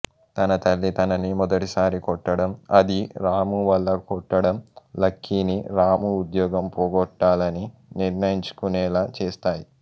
తన తల్లి తనని మొదటిసారి కొట్టడం అదీ రాము వల్ల కొట్టడం లక్కీని రాము ఉద్యోగం పోగొట్టాలని నిర్ణయించుకునేలా చేస్తాయి